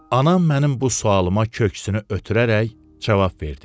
Anam mənim bu sualıma köksünü ötürərək cavab verdi.